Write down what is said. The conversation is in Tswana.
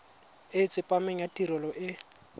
e tsepameng ya tirelo e